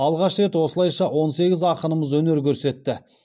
алғаш рет осылайша он сегіз ақынымыз өнер көрсетті